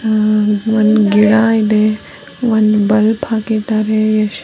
ಒಂದು ಗಿಡ ಇದೆ ಒಮ್ದು ಬಲ್ಬ್ ಹಾಕಿದ್ದಾರೆ.